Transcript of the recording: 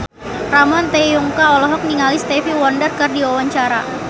Ramon T. Yungka olohok ningali Stevie Wonder keur diwawancara